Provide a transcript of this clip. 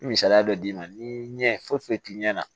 Misaliya dɔ d'i ma ni ɲɛ foyi foyi t'i ɲɛ na